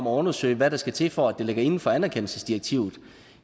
undersøge hvad der skal til for at det ligger inden for anerkendelsesdirektivet